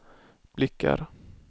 blickar